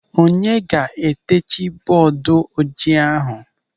Onye ga-eteji bọọdu ojii ahụ?